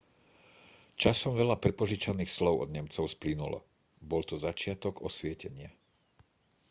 časom veľa prepožičaných slov od nemcov splynulo bol to začiatok osvietenia